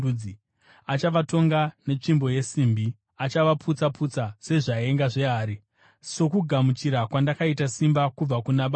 ‘Achavatonga netsvimbo yesimbi; achavaputsa-putsa sezvaenga zvehari’, sokugamuchira kwandakaita simba kubva kuna Baba vangu.